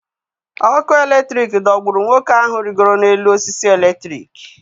Ọkụ eletrik dogburu nwoke ahụ rịgoro n’elu osisi eletrik.